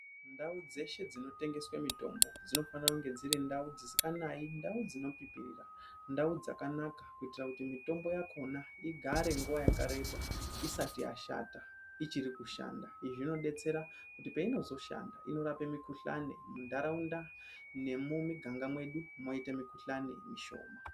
Ndau dzeshe dzinotengeswe mitombo dzinofanira kunge dziri ndau dzisinganayi, ndau dzinopipirira, ndau dzakanaka kuitira kuti mitombo yakona igare nguwa yakareba isati yashata ichirikushanda, izvi zvinodetsera kuti peinozoshanda inorape mikhuhlani munharaunda nemumiganganga mwedu mwoite mikhuhlani mishoma.